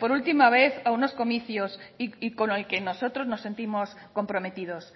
por última vez a unos comicios y con el que nosotros nos sentimos comprometidos